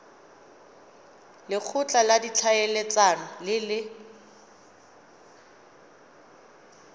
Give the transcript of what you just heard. lekgotla la ditlhaeletsano le le